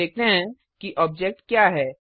अब देखते हैं कि ऑब्जेक्ट क्या है